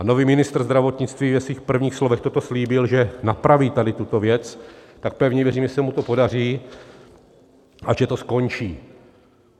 A nový ministr zdravotnictví ve svých prvních slovech toto slíbil, že napraví, tady tuto věc, tak pevně věřím, že se mu to podaří a že to skončí.